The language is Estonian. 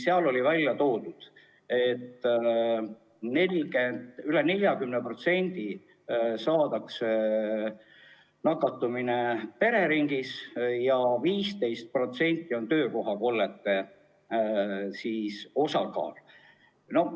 Seal oli välja toodud, et üle 40% juhtudest saadakse nakkus pereringis ja töökohakollete osakaal on 15%.